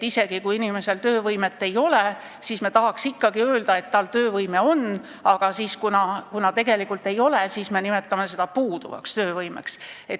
Isegi kui inimesel töövõimet ei ole, siis me tahaks ikkagi öelda, et tal töövõime on, aga kuna seda tegelikult ei ole, siis me nimetame seda puuduvaks töövõimeks.